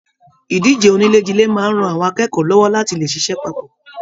Ìdíje onílè jile máa n rán àwọn akẹ́kọ̀ọ́ lọwọ láti le ṣiṣẹ papọ.